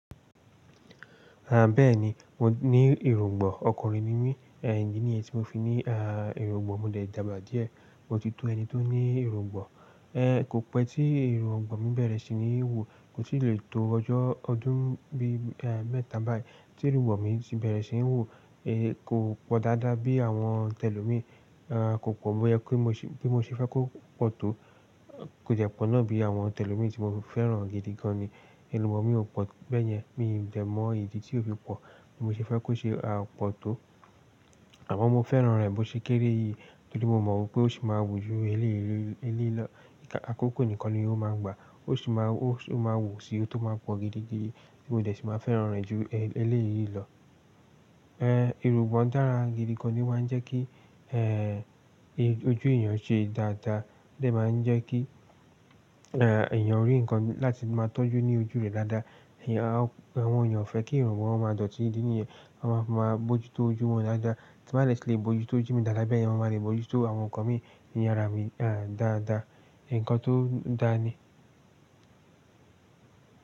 À bẹ́ẹ̀ni, mo ní èróńgbò. Ọkùnrin ni mí, è idi nì yi tí mo fi ní èróńgbò. Mo dẹ̀ dàgbà díẹ̀, mo ti tó ẹni tó ní iruń gbòn. Ẹ̀ kò pẹ́ tí iruń gbòn mi bẹ̀rẹ̀ sí ní wù, kò tì le tó ọjọ́ ọdún bí mẹ́ta báyìí tí iruń gbòn mi ti bẹ̀rẹ̀ sí ń wù. Ẹ kò pọ̀ dáadáa bí àwọn tẹ̀lọ́mi, kò pọ̀ bi ko po bi mo ṣe fẹ́ kó pọ̀ tó. Kò dẹ̀ pọ̀ náà bí àwọn tẹ̀lọ́mi tí mo fẹ́ràn gidi gan ni. Iruń gbòn mi ò pọ̀ bẹ́ẹ̀yẹn, mi ò de mọ ìdí tí ó fi pọ̀ bí mo ṣe fẹ́ kó ṣe pọ̀ tó. Àmọ́ mo fẹ́ràn rẹ̀ bó ṣe kéré yìí torí mo mọ̀ wipé ó sì máa wù ju eléyìí lọ, àkókò nìkan ni ó máa gbà. Ó sì máa o máa wù síí tó máa pọ̀ gidi gidi, ti mo dẹ̀ sì máa fẹ́ràn rẹ̀ ju eléyìí lọ. Ẹ̀ iruń gbòn dára gidi gan ni, o máa n jẹ́ kí ojú èèyàn ṣe dáadáa, ó dẹ̀ máa ń jẹ́ kí èèyàn rí nǹkan láti máa tọ́jú ní ojú rẹ̀ dáadáa. Àwọn èèyàn o fẹ́ kí irun gbon wọn máa dọ̀tí idi niyen, ton máa ń fi máa bójú tó ojú wọn dáadáa. Ti n bá de ti le bojú tó ojú mi dáadáa bẹ́ẹ̀ yen mo máa lè mojú tó àwọn ǹkan mi ní àrá mi dáadáa. Ǹkan tó dáa ni.